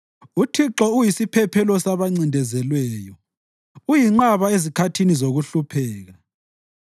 UThixo uyisiphephelo sabancindezelweyo, uyinqaba ezikhathini zokuhlupheka.